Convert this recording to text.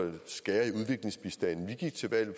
job eller